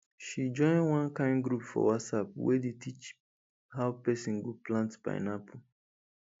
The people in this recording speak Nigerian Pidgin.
she join one kain group for whatsapp wey dey teach how pesin go plant pineapple